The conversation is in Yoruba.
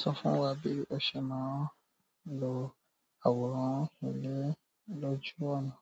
Sọ fún wa bí o ṣe máa ń lo àwòrán ilé lóju ọ̀nà.